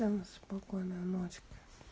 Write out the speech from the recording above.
всем спокойной ночки